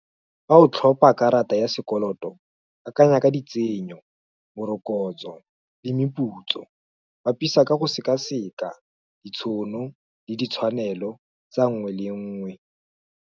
Fa o tlhopa karata ya sekoloto, akanya ka ditsenyo, morokotso, le meputso, bapisa ka go sekaseka, ditshono, le ditshwanelo, tsa nngwe le nngwe.